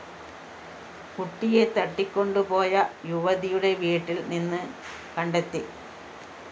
കുട്ടിയെ തട്ടിക്കൊണ്ടു പോയ യുവതിയുടെ വീട്ടില്‍ നിന്ന് കണ്ടെത്തി